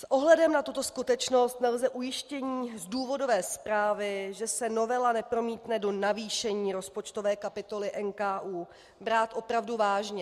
S ohledem na tuto skutečnost nelze ujištění z důvodové zprávy, že se novela nepromítne do navýšení rozpočtové kapitoly NKÚ, brát opravdu vážně.